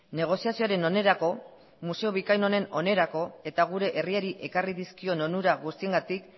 negoziazioaren onerako museo bikain honen onerako eta gure herriari ekarri dizkion onura guztiengatik